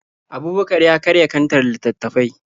Abubakar ya karya kantar littattafai.